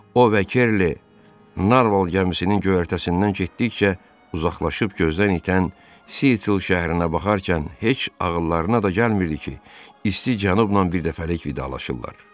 O və Kerli Narval gəmisinin göyərtəsindən getdikcə uzaqlaşıb gözdən itən Sitl şəhərinə baxarkən heç ağıllarına da gəlmirdi ki, isti Cənubla birdəfəlik vidalaşıblar.